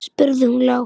spurði hún lágt.